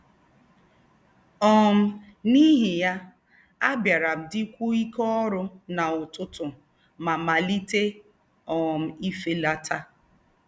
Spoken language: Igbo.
um N’íhí yá, àbí̀árá m dí̀kwúó íké órú na ututu mà màlíté um ìfélátà.